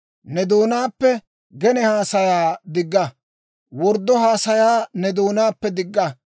Ne doonaappe gene haasayaa digga; worddo haasayaa ne doonaappe digga.